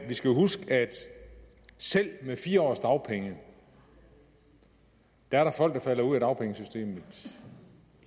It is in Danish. jo huske at selv med fire års dagpenge er der folk der falder ud af dagpengesystemet